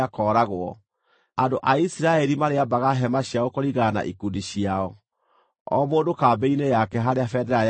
Andũ a Isiraeli marĩambaga hema ciao kũringana na ikundi ciao, o mũndũ kambĩ-inĩ yake harĩa bendera yake ĩrĩ.